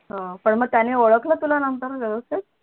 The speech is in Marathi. अह पण मग त्यांनी ओळखल तुला नंतर व्यवस्थित